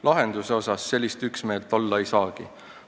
Lahenduse puhul sellist üksmeelt olla ei saagi.